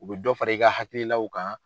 U be dɔ fara i ka hakilaw kan